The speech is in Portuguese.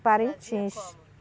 Parintins. Como